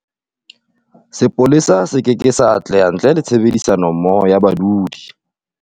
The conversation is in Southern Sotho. Sepolesa se keke sa atleha ntle le tshebedisanommoho ya badudi.